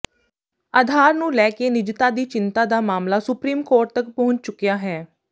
ਆਧਾਰ ਨੂੰ ਲੈ ਕੇ ਨਿਜਤਾ ਦੀ ਚਿੰਤਾ ਦਾ ਮਾਮਲਾ ਸੁਪਰੀਮ ਕੋਰਟ ਤਕ ਪਹੁੰਚ ਚੁਕਿਆ ਹੈ